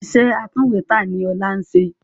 Iṣẹ́ atúnwèétẹ̀ ni Ọlá ń ṣe